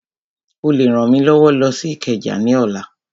Ó lè rán mi lọ sí Ìkẹjà ní ọ̀la